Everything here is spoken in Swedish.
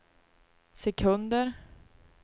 sekunder